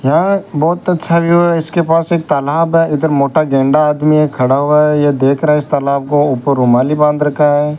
यहां बहुत अच्छा व्यू है इसके पास एक तालाब है इधर मोटा गेंडा आदमी है खड़ा हुआ है यह देख रहा है इस तालाब को ऊपर रूमाली बंद रखा है।